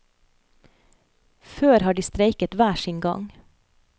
Før har de streiket hver sin gang.